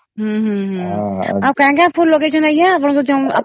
ହମ୍ମ ହମ୍ମ ହମ୍ମ ଆଉ କଣ କଣ ଫୁଲ ଲଗେଇଅଛନ ଆଂଜ୍ଞା ଆପଣ